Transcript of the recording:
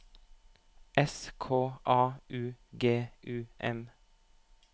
S K A U G U M